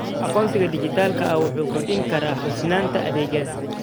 Aqoonsiga dhijitaalka ah wuxuu kordhin karaa hufnaanta adeegyada.